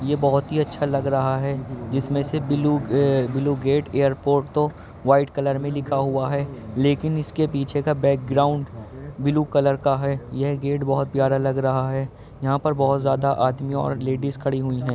ये बोहोती अच्छा लग रहा है जिसमें से blue uh blue gate airport तो व्हाइट कलर में लिखा हुआ है लेकिन इसके पीछे का बैकग्राउंड ब्लू कलर का है। यह गेट बोहोत प्यारा लग रहा है। यहां पर बोहोत ज्यादा आदमी और लेडीज़ खडी हुई हैं।